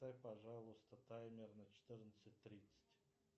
поставь пожалуйста таймер на четырнадцать тридцать